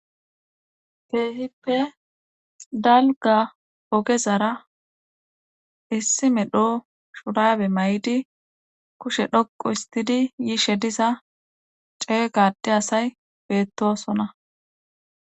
Keehippe dalgga ogezara issi medho shuraabe mayidi kushe dhoqqu isttidi yishe diza ceega ade asay beettoosona.